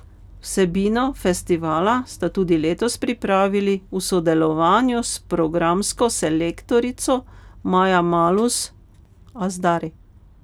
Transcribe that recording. Vsebino festivala sta tudi letos pripravili v sodelovanju s programsko selektorico Maja Malus Azhdari.